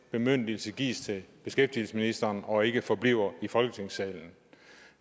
bemyndigelse gives til beskæftigelsesministeren og ikke forbliver i folketingssalen